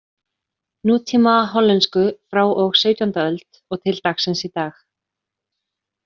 Nútíma hollensku frá og sautjánda öld og til dagsins í dag.